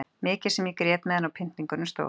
Mikið sem ég grét meðan á pyntingunum stóð.